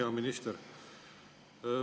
Hea minister!